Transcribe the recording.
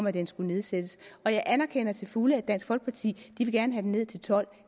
at den skulle nedsættes og jeg anerkender til fulde at dansk folkeparti gerne vil have den ned til tolv